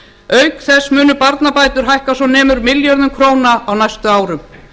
auk þess munu barnabætur hækka svo nemur milljörðum króna á næstu árum